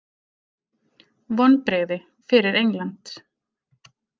Vonbrigði fyrir England.